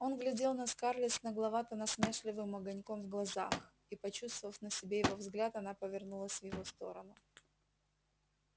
он глядел на скарлетт с нагловато-насмешливым огоньком в глазах и почувствовав на себе его взгляд она повернулась в его сторону